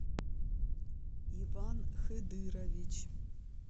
иван хыдырович